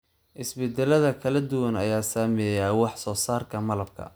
Isbeddellada kala duwan ayaa saameeya wax soo saarka malabka.